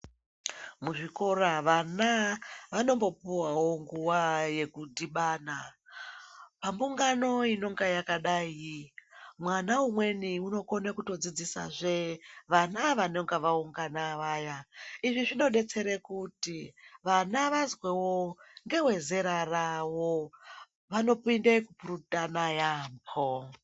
Muzvikora vana vanombopuvavo nguva yekudhibana. Pambungano inonga yakadai mwana umweni unokona kutodzidzisazve vana vanonga vaungana vaya. Izvi zvinobetsere kuti vana vazwevo ngeve zera ravo vanopinde kupurutana yaamho.